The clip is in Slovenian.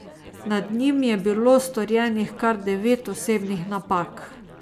Nad njim je bilo storjenih kar devet osebnih napak.